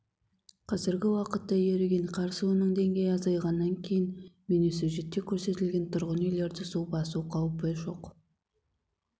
қазіргі уақытта еріген қар суының деңгейі азайғаннан кейін бейнесюжетте көрсетілген тұрғын үйлерді су басу қаупі жоқ